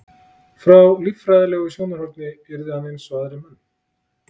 frá líffræðilegu sjónarhorni yrði hann eins og aðrir menn